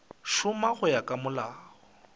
šoma go ya ka molao